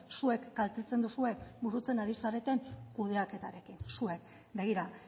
zuek kaltetzen duzue burutzen ari zareten kudeaketarekin zuek begira